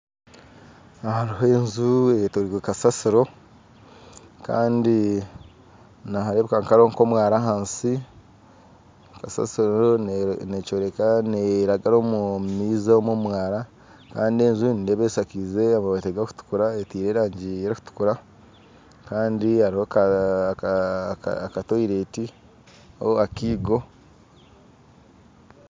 Aha hariho enju eyetorirwe kasaasiro kandi nihareebeka kuba nka ahariho omwaara ahansi kasaasiro nekyoreka neragara omu maizi aho omu mwaara kandi enju nindeeba eshakize emabaati gakutukura etaire erangi erikutuukura kandi hariho akatoilet niga akaigo